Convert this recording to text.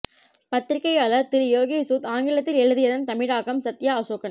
பத்திரிக்கையாளர் திரு யோகேஷ் சூத் ஆங்கிலத்தில் எழுதியதன் தமிழாக்கம் சத்யா அசோகன்